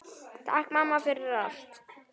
Takk mamma, fyrir allt.